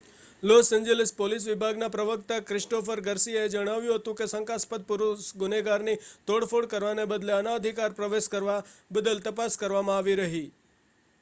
loss Angeles police વિભાગના પ્રવક્તા Christopher ગાર્સિયાએ જણાવ્યું હતું કે શંકાસ્પદ પુરુષ ગુનેગારની તોડફોડ કરવાને બદલે અનધિકાર પ્રવેશ કરવા બદલ તપાસ કરવામાં આવી રહી